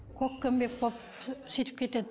көкпеңбек болып сөйтіп кетеді